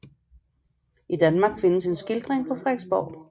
I Danmark findes en skildring på Frederiksborg